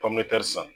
Pɔmɛri san